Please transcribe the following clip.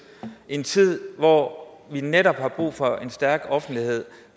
i en tid hvor vi netop har brug for en stærk offentlighed